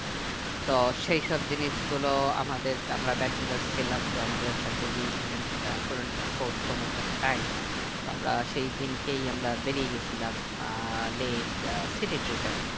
তো সেই সব জিনিস গুলো আমাদের আমরা bachelor ছিলাম তো আমাদের কাছে we did not could not effort so much of time তো আমরা সেই দিনকে আমরা বেরিয়ে গেছিলাম ah Leh ah city trip এ